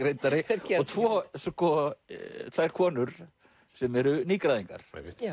reyndari og tvær konur sem eru nýgræðingar